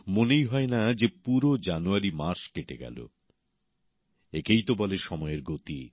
মনেই হয় না যে পুরো জানুয়ারি মাস কেটে গেল একেই তো বলে সময়ের গতি